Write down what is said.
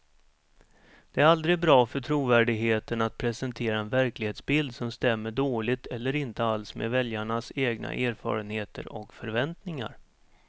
Det är aldrig bra för trovärdigheten att presentera en verklighetsbild som stämmer dåligt eller inte alls med väljarnas egna erfarenheter och förväntningar.